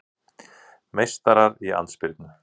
Meistarar í andspyrnu